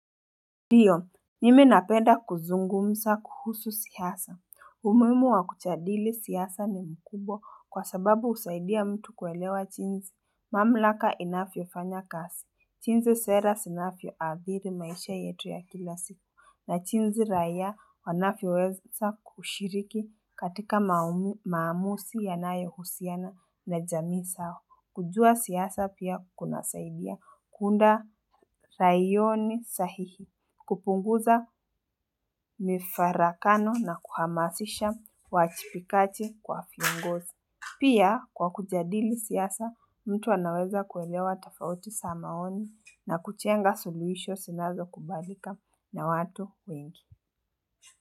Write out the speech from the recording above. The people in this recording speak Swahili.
Ndiyo, mimi napenda kuzungumza kuhusu siasa. Umuhimu wa kujadili siasa ni mkubwa kwa sababu husaidia mtu kuelewa jinzi. Mamlaka inavyofanya kazi. Jinzi sera zinavyo adhiri maisha yetu ya kila siku. Na jinzi raia wanavyoweza kushiriki katika maamuzi yanayo husiana na jamii zao. Kujua siasa pia kunasaidia. Kuunda raiyoni sahihi kupunguza mifaraghano na kuhamasisha uwajibikaji kwa viongozi. Pia kwa kujadili siasa, mtu anaweza kuelewa tafauti za maoni na kujenga suluhisho zinazo kubalika na watu wengi.